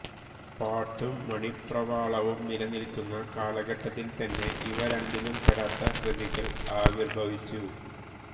പാട്ടും മണിപ്രവാളവും നിലനിൽക്കുന്ന കാലഘട്ടത്തിൽത്തന്നെ ഇവ രണ്ടിലും പെടാത്ത കൃതികൾ ആവിർഭവിച്ചു